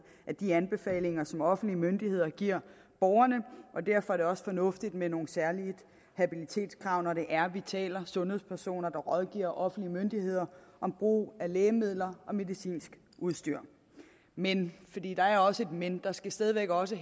i de anbefalinger som offentlige myndigheder giver borgerne derfor er det også fornuftigt med nogle særlige habilitetskrav når der er tale om sundhedspesoner der rådgiver offentlige myndigheder om brug af lægemidler og medicinsk udstyr men fordi der er også et men der skal stadig væk også